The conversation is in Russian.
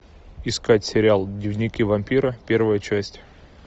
искать сериал дневники вампира первая часть